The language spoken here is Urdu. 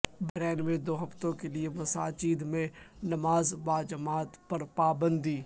بحرین میں دو ہفتوں کے لئے مساجد میں نماز باجماعت پر باپندی